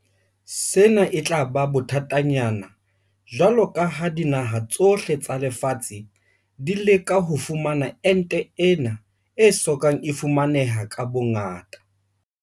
Sena e tla ba bothatanyana jwalo ka ha dinaha tsohle tsa lefatshe di leka ho fumana ente ena e so kang e fumaneha ka bongata.